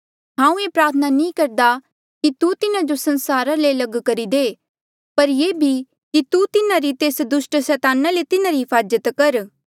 हांऊँ ऐें प्रार्थना नी करदा कि तू तिन्हा जो संसारा ले लग करी दे पर ये भी कि तू तिन्हा जो तेस दुस्ट सैताना ले तिन्हारी हिफाजत कर